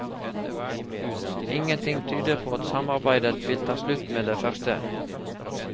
Ingenting tyder på at samarbeidet vil ta slutt med det første.